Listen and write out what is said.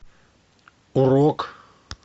урок